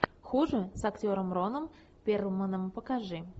хуже с актером роном перлманом покажи